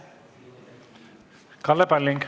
Kalle Palling.